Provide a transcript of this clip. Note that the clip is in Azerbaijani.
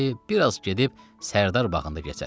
Dedi, biraz gedib Sərdar bağında gəzərik.